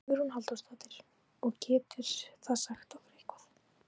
Hugrún Halldórsdóttir: Og getur það sagt okkur eitthvað?